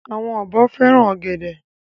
Àwọn ọ̀bọ fẹ́ràn ọ̀gẹ̀dẹ̀.